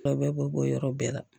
A bɛɛ b'o bɔ yɔrɔ bɛɛ la